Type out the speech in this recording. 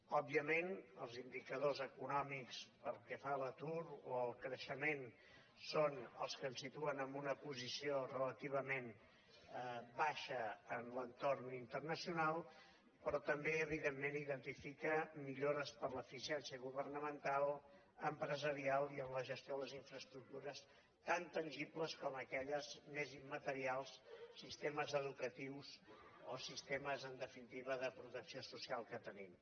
òbviament els indicadors econòmics pel que fa a l’atur o al creixement són els que ens situen en una posició relativament baixa en l’entorn internacional però també evidentment identifica millores per l’eficiència governamental empresarial i en la gestió de les infraestructures tant tangibles com aquelles més immaterials sistemes educatius o sistemes en definitiva de protecció social que tenim